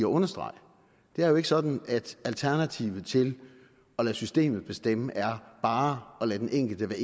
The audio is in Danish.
understrege det er jo ikke sådan at alternativet til at lade systemet bestemme er bare at lade den enkelte